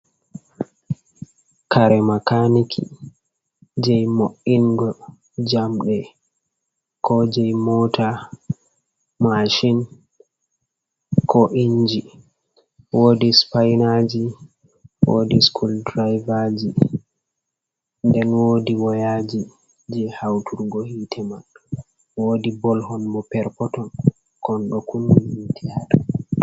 Kare makaniki jei mo’ingo jamɗe ko jei mota mashin, ko inji wodi spinaji wodi school driveji nden wodi woyaji je hauturgo hitte man, wodi bol hon bo per poton kon ɗo kuni hitte ha dow.